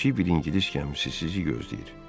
Kiçik bir ingilis gəmisi sizi gözləyir.